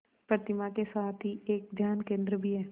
प्रतिमा के साथ ही एक ध्यान केंद्र भी है